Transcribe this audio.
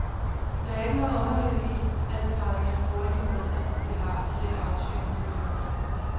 Der er ikke noget underligt i, at et parlament bruger de midler, det har, til at aftvinge nye løfter.